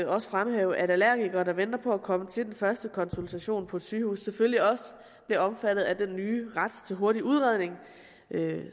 også fremhæve at allergikere der venter på at komme til den første konsultation på et sygehus selvfølgelig også bliver omfattet af den nye ret til hurtig udredning